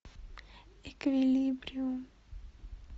эквилибриум